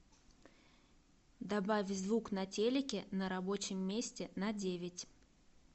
добавь звук на телике на рабочем месте на девять